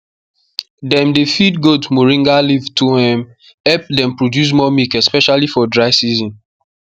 dem dey feed goat moringa leaf to um help them produce more milk especially for dry season